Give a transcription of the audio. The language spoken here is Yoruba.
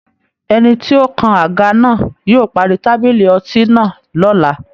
Ẹni tí ó ń kan àga náà yóò parí tábìlì ọtí náà lọ́la